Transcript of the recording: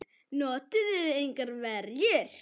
Notuðuð þið engar verjur?